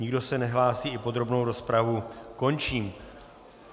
Nikdo se nehlásí, i podrobnou rozpravu končím.